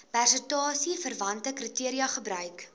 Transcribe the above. prestasieverwante kriteria gebruik